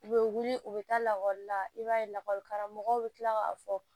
U bɛ wuli u bɛ taa lakɔli la i b'a ye lakɔlikaramɔgɔ bɛ tila k'a fɔ